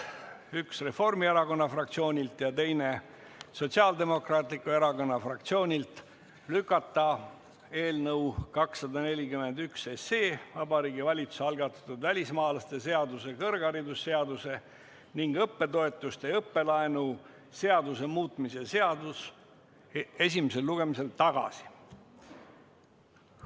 Üks on Reformierakonna fraktsioonilt ja teine Sotsiaaldemokraatliku Erakonna fraktsioonilt: lükata eelnõu 241 SE, Vabariigi Valitsuse algatatud välismaalaste seaduse, kõrgharidusseaduse ning õppetoetuste ja õppelaenu seaduse muutmise seaduse eelnõu esimesel lugemisel tagasi.